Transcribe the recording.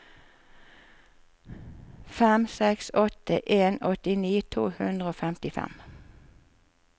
fem seks åtte en åttini to hundre og femtifem